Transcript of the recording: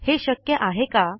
हे शक्य आहे का